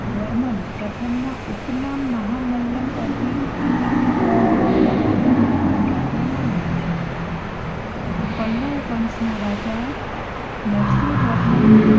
ભારતના પલ્લવ રાજા નરસિંહવર્મન પ્રથમના ઉપનામ મહામલ્લ પરથી આ નગરનું નામ મહાબલીપુરમ રાખવામાં આવ્યું છે. પલ્લવ વંશના રાજા નરસિંહવર્મન